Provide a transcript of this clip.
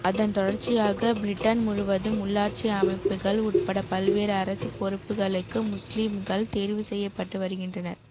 அதன் தொடர்ச்சியாக பிரிட்டன் முழுவதும் உள்ளாட்சி அமைப்புகள் உட்பட பல்வேறு அரசு பொறுப்புகளுக்கு முஸ்லிம்கள் தேர்வு செய்ய பட்டு வருகின்றர்